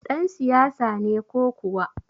Ɗan siyasa ne ko kuwa?